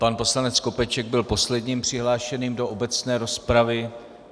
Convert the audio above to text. Pan poslanec Skopeček byl posledním přihlášeným do obecné rozpravy.